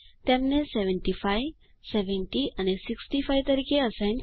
તેમને 75 70 અને 65 તરીકે અસાઇન કરી